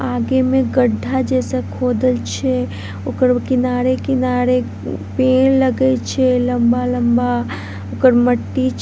आगे मे गड्ढा जैसा खोदल छै ओकर किनारे-किनारे पेड़ लगल छै लम्बा-लम्बा ओकर मट्टी छै ।